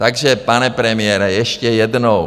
Takže, pane premiére, ještě jednou.